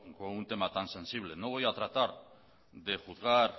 con un tema tan sensible no voy a tratar de juzgar